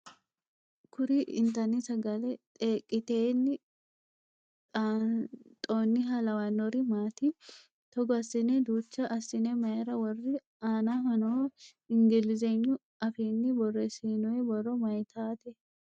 Kuri intanni sagale xeeqetenni xasnxonniha lawannori maati? Togo assine duucha assine mayiira worri? Aanaho noo ingilizegnu afiinni borreessinoyi borro mayiitate?